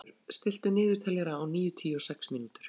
Oddbergur, stilltu niðurteljara á níutíu og sex mínútur.